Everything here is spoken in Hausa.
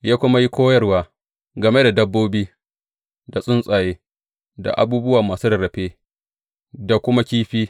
Ya kuma yi koyarwa game da dabbobi, da tsuntsaye, da abubuwa masu rarrafe, da kuma kifi.